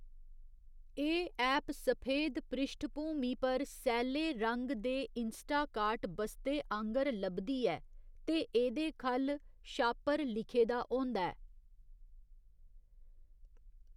एह्‌‌ ऐप सफेद पृश्ठभूमि पर सैले रंग दे इंस्टाकार्ट बस्ते आंह्गर लभदी ऐ ते एह्‌‌‌दे ख'ल्ल 'शापर' लिखेदा होंदा ऐ।